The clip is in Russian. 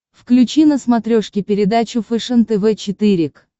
включи на смотрешке передачу фэшен тв четыре к